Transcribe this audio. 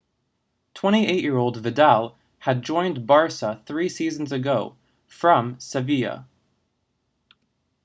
28-year-old vidal had joined barça three seasons ago from sevilla